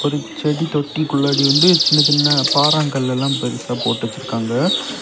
ஒரு செடி தொட்டிக்குள்ளாடி வந்து சின்ன சின்ன பாரங்கள் எல்லா பெருசா போட்டு வெச்சிருக்காங்க.